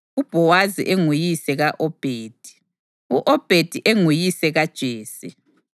UBhowazi enguyise ka-Obhedi, u-Obhedi enguyise kaJese.